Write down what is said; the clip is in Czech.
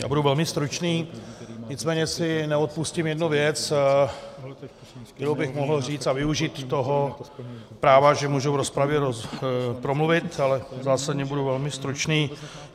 Já budu velmi stručný, nicméně si neodpustím jednu věc, kterou bych mohl říct, a využít toho práva, že můžu v rozpravě promluvit, ale zásadně budu velmi stručný.